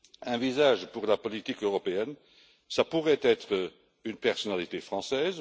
Un visage pour la politique européenne pourrait être une personnalité française.